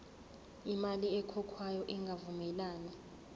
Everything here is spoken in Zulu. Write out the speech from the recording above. imali ekhokhwayo ingavumelani